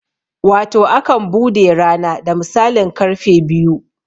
Wato akan bude rana da misalin karfe biyu